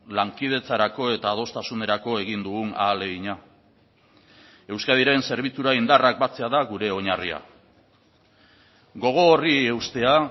lankidetzarako eta adostasunerako egin dugun ahalegina euskadiren zerbitzura indarrak batzea da gure oinarria gogo horri eustea